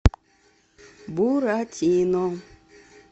буратино